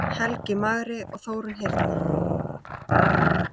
Helgi magri og Þórunn hyrna.